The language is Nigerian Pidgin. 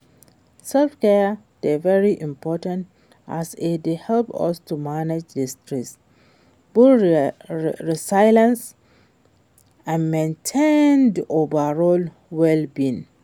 Self-care dey very important as e dey help us to manage di stress, build resilience and maintain di overall well-being.